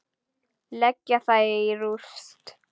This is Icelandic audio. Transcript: Leggja það í rúst!